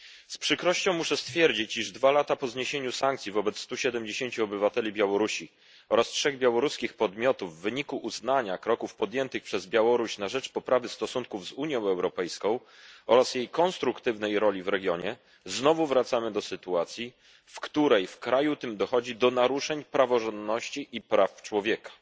Z przykrością muszę stwierdzić, iż dwa lata po zniesieniu sankcji wobec stu siedemdziesięciu obywateli Białorusi oraz trzech białoruskich podmiotów w wyniku uznania kroków podjętych przez Białoruś na rzecz poprawy stosunków z Unią Europejską oraz jej konstruktywnej roli w regionie, znowu wracamy do sytuacji, w której w kraju tym dochodzi do naruszeń praworządności i praw człowieka.